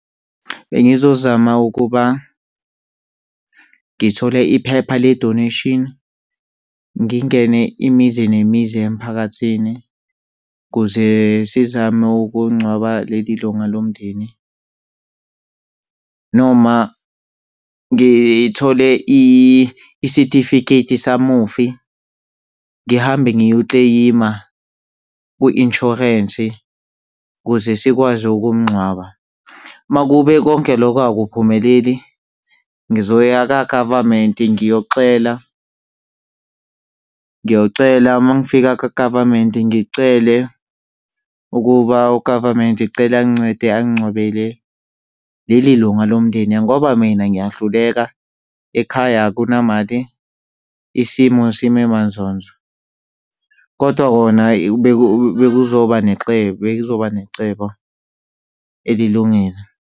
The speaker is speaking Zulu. Bengizozama ukuba ngithole iphepha le-donation. Ngingene imizi nemizi emphakathini kuze sizame ukungcwaba leli lunga lomndeni noma ngithole isitifiketi samufi, ngihambe ngiyokleyima kwi-insurance ukuze sikwazi ukumngcwaba. Uma kube konke lokho akuphumeleli, ngizoya kagavamenti ngiyoxela, ngiyocela. Uma ngifika kagavamenti ngicele ukuba ugavamenti cela angincede angingcwabele leli lunga lomndeni, ngoba mina ngiyahluleka. Ekhaya akunamali, isimo sime manzonzo, kodwa kona bekuzoba nenxebo bekuzoba necebo elilungile.